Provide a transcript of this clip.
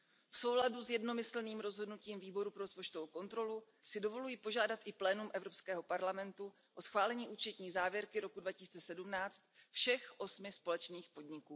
V souladu s jednomyslným rozhodnutím Výboru pro rozpočtovou kontrolu si dovoluji požádat i plénum Evropskému parlamentu o schválení účetní závěrky roku 2017 všech osmi společných podniků.